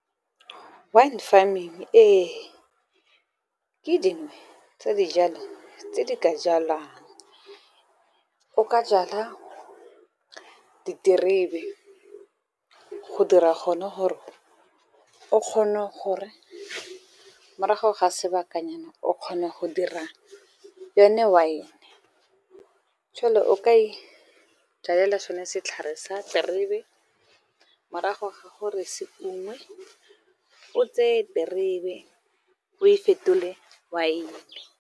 Wine farming ee ke dingwe tsa dijalo tse di ka jalwang. O ka jala diterebe go dira gone gore o kgone gore morago ga sebakanyana o kgona go dira yone wine. Jwale o ka ijalela sone setlhare sa diterebe, morago ga gore se ungwe o tseye terebe o e fetole wine.